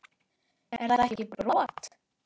Er þetta ekki brot?